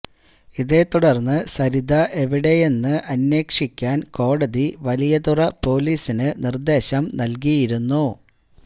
ഇതേ തുടർന്ന് സരിത എവിടെയെന്ന് അന്വേഷിക്കാൻ കോടതി വലിയതുറ പോലീസിന് നിർദേശം നൽകിയിരുന്നു